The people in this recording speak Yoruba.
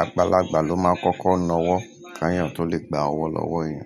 Àgbàlagbà ló máa kọ́kọ́ na ọwọ́ k'eyàn tó lè gba ọwọ́ lọ́wọ́ ènìyàn.